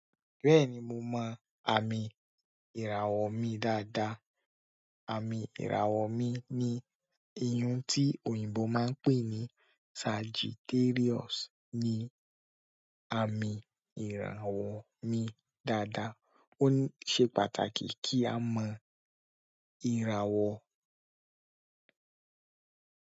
Bẹ́ẹ̀ni mo mọ àmì ìràwọ̀ mi dáadáa. Àmì ìràwọ̀ mi ni iyùn tí òyìnbó máa ń pè ní Sagittarius ni àmì ìràwọ̀ mi dáadáa. Ó ní ṣe pàtàkì kí á mọ́ ìràwọ̀.